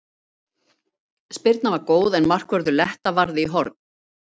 Spyrnan var góð en markvörður Letta varði í horn.